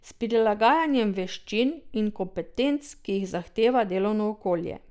S prilagajanjem veščin in kompetenc, ki jih zahteva delovno okolje.